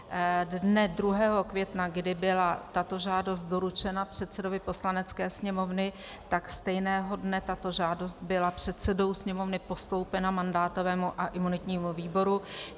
Dne 2. května, kdy byla tato žádost doručena předsedovi Poslanecké sněmovny, tak stejného dne tato žádost byla předsedou Sněmovny postoupena mandátovému a imunitnímu výboru.